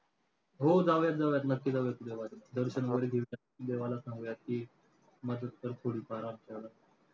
हो जाऊयात जाऊयात नक्की जाऊयात उद्या वारीला. दर्शन देवाला सांगूयात की, मदत कर थोडीफार